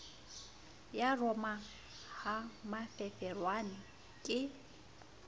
ya roma ha mafefowane ke